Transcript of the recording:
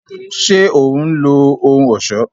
Ṣe òun lo ohùn ọṣọ